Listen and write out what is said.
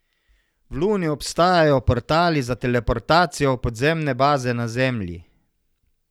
V luni obstajajo portali za teleportacijo v podzemne baze na zemlji.